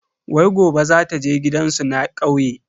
Wai gobe zata je gidansu na kauye.